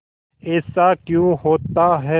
ऐसा क्यों होता है